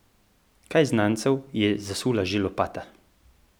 Kaj znancev je zasula že lopata!